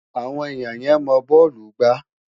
Awon enia ye mo bọọlu gba